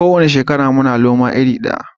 Ko wani shekara muna noma iri daya kawai